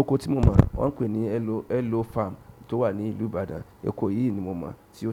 Ọkọ̀ tí mo mọ wọn pè ní elo farm tí ó wà nílú Ìbàdàn oko yi ni mo mọ tí ó